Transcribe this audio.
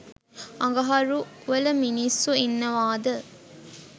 අඟහරු වල මින්ස්සු ඉන්නවද